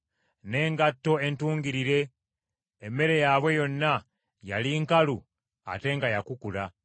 n’engatto entungirire, emmere yaabwe yonna yali nkalu ate nga yakukula.